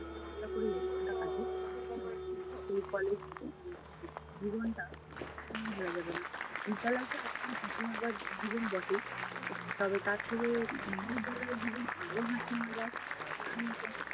মজা করে জীবনটা কাটে এবং সেই college জীবনটা কখনও ভুলা যাবে না। বিদ্যালয় তো একদম হাসি মজার জীবন বটেই তবে তার থেকে মহাবিদ্যালয়ের জীবন আরও হাসি মজার।